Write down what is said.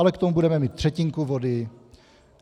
Ale k tomu budeme mít třetinku vody.